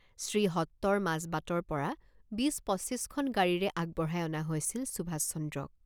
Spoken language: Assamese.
শ্ৰীহট্টৰ মাজবাটৰপৰা বিছ পঁচিছখন গাড়ীৰে আগবঢ়াই অনা হৈছিল সুভাষচন্দ্ৰক।